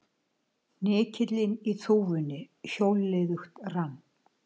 Hnykillinn í þúfunni hjólliðugt rann.